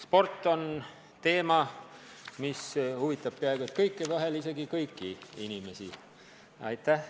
Sport on teema, mis huvitab peaaegu kõiki, vahel isegi kõiki inimesi.